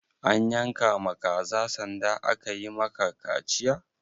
An yanka ma ka kaza sanda aka yi ma ka kaciya?